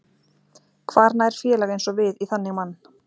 Hvar nær félag eins og við í þannig mann?